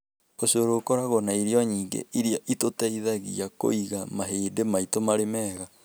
Ũcũrũ ũkoragwo na irio nyingĩ iria itũteithagia kũiga mahĩndĩ maitũ marĩ mega.